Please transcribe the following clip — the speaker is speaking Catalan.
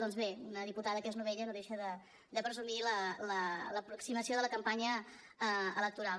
doncs bé una diputada que és novella no deixa de presumir l’aproximació de la campanya electoral